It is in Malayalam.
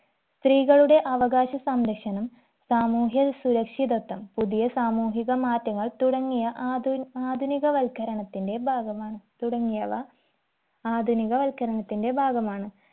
സ്ത്രീകളുടെ അവകാശ സംരക്ഷണം സാമൂഹ്യ സുരക്ഷിതത്വം പുതിയ സാമൂഹിക മാറ്റങ്ങൾ തുടങ്ങിയ ആധു ആധുനിക വത്കരണത്തിന്റെ ഭാഗമാണ് തുടങ്ങിയവ ആധുനിക വത്കരണത്തിന്റെ ഭാഗമാണ്